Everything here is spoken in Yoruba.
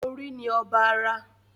Orí ni ọba ara